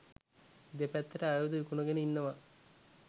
දෙපැත්තට ආයුධ විකුණගෙන ඉන්නවා